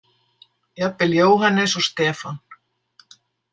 Jafnvel Jóhannes og Stefán.